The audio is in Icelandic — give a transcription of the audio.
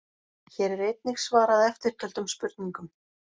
Hér er einnig svarað eftirtöldum spurningum: